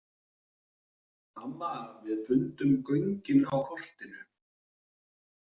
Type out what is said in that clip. Amma, við fundum göngin á kortinu.